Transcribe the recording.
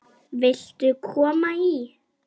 Viltu koma í?